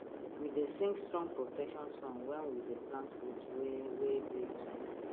we dey sing strong protection song when we dey plant root wey wey dey sensitive